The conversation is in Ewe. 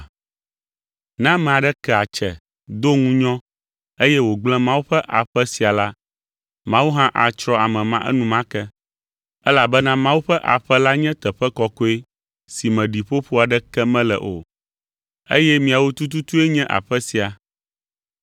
Ne ame aɖe ke atse do ŋunyɔ, eye wògblẽ Mawu ƒe aƒe sia la, Mawu hã atsrɔ̃ ame ma enumake, elabena Mawu ƒe aƒe la nye teƒe kɔkɔe si me ɖiƒoƒo aɖeke mele o eye miawo tututu nye aƒe sia.